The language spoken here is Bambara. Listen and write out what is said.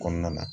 Kɔnɔna na